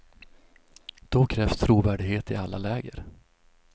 Då krävs trovärdighet i alla läger.